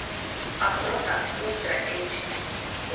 охота ультра эйч ди